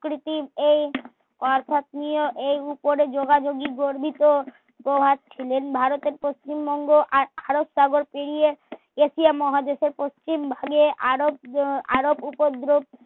creative এই এই উপরে যোযাযোজী গর্বিত প্রভাব ছিলেন ভারতের পশ্চিমবঙ্গ আর আরবসাগর পেরিয়ে এশিয়া মহাদেশ পশ্চিম